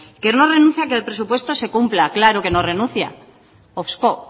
que no renuncia a que el presupuesto se cumpla claro que no renuncia